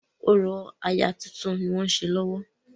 Orò aya tuntun ni wọ́n ṣe lọ́wọ́.